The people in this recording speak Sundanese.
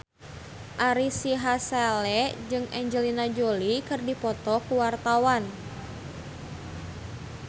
Ari Sihasale jeung Angelina Jolie keur dipoto ku wartawan